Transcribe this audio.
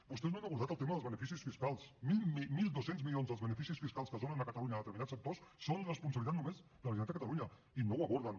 vostès no han abordat el tema dels beneficis fiscals mil dos cents milions dels beneficis fiscals que es donen a catalunya a determinats sectors són responsabilitat només de la generalitat de catalunya i no ho aborden